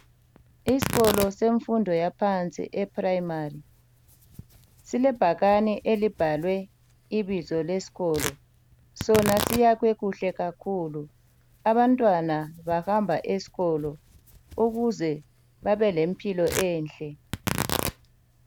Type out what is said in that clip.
Isikolo semfundo yaphansi eprimary silebhakani elibhalwe ibizo lesikolo sona siyakhwe kuhle kakhulu. Abantwana bahamba esikolo ukuze babelempilo enhlle.